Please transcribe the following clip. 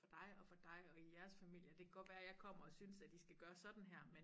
Dig og for dig og i jeres familie og det kan godt være jeg kommer og synes at i skal gøre sådan her men